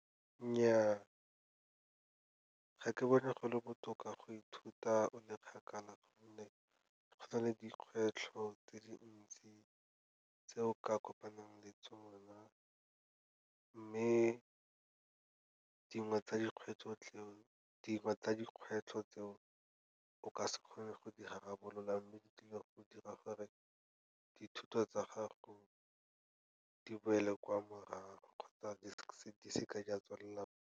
Nnyaa, ga ke bone go le botoka go ithuta o le kgakala gonne go na le dikgwetlho tse dintsi tse o ka kopanang le tsona. Mme dingwe tsa dikgwetlho tseo o ka se kgone go di rarabolola, mme di tlile go dira gore dithuto tsa gago di boele kwa morago, kgotsa di seke di a tswelela.